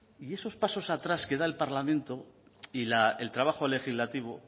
y esos pasos atrás que da el parlamento y el trabajo legislativo